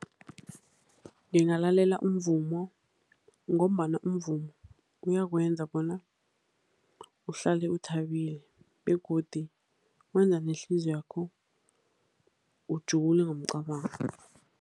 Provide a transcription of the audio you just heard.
Ngingalalela umvumo ngombana umvumo uyakwenza bona uhlale uthabile begodi wenza nehliziywakho ujule ngomcabango.